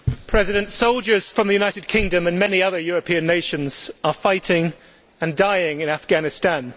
Mr President, soldiers from the United Kingdom and many other European nations are fighting and dying in Afghanistan.